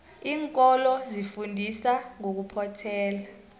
iinkolo zifundisa ngokuphothela